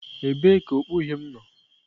Ebee ka okpu uhie m nọ?